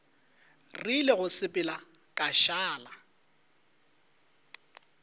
rile go sepela ka šala